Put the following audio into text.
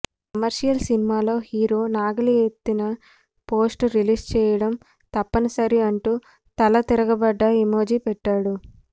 commercial సినిమాల్లో hero నాగలి ఎత్తిన పోస్టర్ రిలీజ్ చేయడం తప్పని సరి అంటూ తలా తిరగబడ్డ ఎమోజి పెట్టాడు